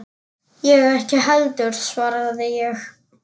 Ég ekki heldur, svaraði ég.